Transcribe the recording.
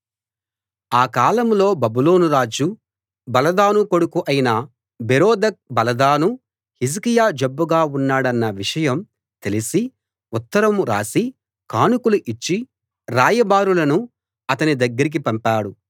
ఆ కాలంలో బబులోనురాజు బలదాను కొడుకు అయిన బెరోదక్ బలదాను హిజ్కియా జబ్బుగా ఉన్నాడన్న విషయం తెలిసి ఉత్తరం రాసి కానుకలు ఇచ్చి రాయబారులను అతని దగ్గరికి పంపాడు